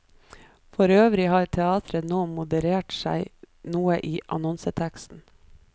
For øvrig har teatret nå moderert seg noe i annonseteksten.